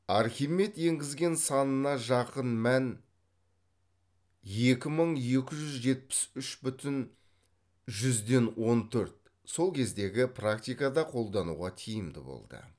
архимед енгізген санына жақын мән екі мың екі жүз жетпіс үш бүтін жүзден он төрт сол кездегі практикада қолдануға тиімді болды